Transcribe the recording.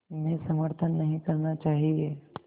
में समर्थन नहीं करना चाहिए